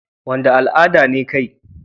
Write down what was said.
Wanda al'ada ne kai?